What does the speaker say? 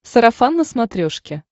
сарафан на смотрешке